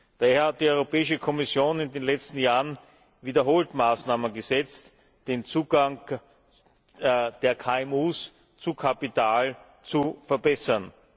Daher hat die Europäische Kommission in den letzten Jahren wiederholt Maßnahmen gesetzt, den Zugang der KMU zu Kapital zu verbessern.